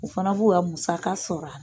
U fana b'u ya musaka sɔrɔ a ra.